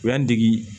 U y'an dege